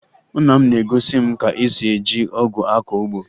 Nna m na-egosi m ka esi eji ọgụ akọ ugbo